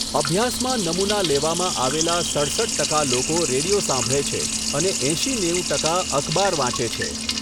અભ્યાસમાં નમૂના લેવામાં આવેલા સડસઠ ટકા લોકો રેડિયો સાંભળે છે અને એંશી નેવું ટકા અખબાર વાંચે છે.